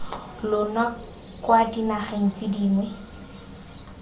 lona kwa dinageng tse dingwe